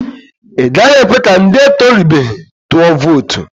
I gaghị ekwe ka ndị etorubeghi tụọ vootu.